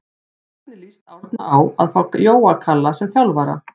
Hvernig lýst Árna á að fá Jóa Kalla sem þjálfara?